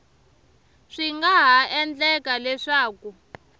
swi nga ha endleka leswaku